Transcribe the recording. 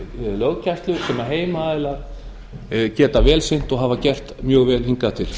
löggæslu sem heimaaðilar geta vel sinnt og hafa gert mjög vel hingað til